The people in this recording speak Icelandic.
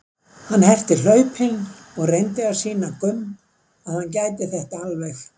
Hann herti hlaupin og reyndi að sýna Gumm að hann gæti þetta alveg.